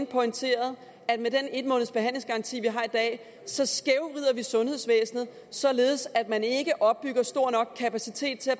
pointeret at med den en måneds behandlingsgaranti vi har i dag så skævvrider vi sundhedsvæsenet således at man ikke opbygger en stor nok kapacitet til at